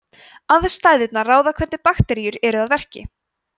aðstæðurnar ráða hvernig bakteríur eru að verki